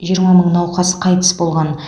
жиырма мың науқас қайтыс болған